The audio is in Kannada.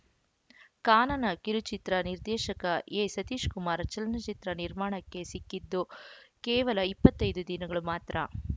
ಕಾನನ ಕಿರುಚಿತ್ರ ನಿರ್ದೇಶಕ ಎಸತೀಶಕುಮಾರ್‌ ಚಲನಚಿತ್ರ ನಿರ್ಮಾಣಕ್ಕೆ ಸಿಕ್ಕಿದ್ದು ಕೇವಲ ಇಪ್ಪತ್ತ್ ಐದು ದಿನಗಳು ಮಾತ್ರ